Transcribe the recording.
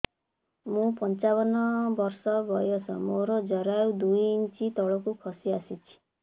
ମୁଁ ପଞ୍ଚାବନ ବର୍ଷ ବୟସ ମୋର ଜରାୟୁ ଦୁଇ ଇଞ୍ଚ ତଳକୁ ଖସି ଆସିଛି